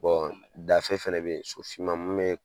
dafe fana bɛyi so finma mun bɛ.